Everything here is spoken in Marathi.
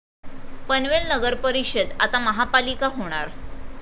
पनवेल नगरपरिषद आता महापालिका होणार